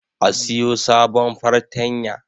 A siyo sabon fartanya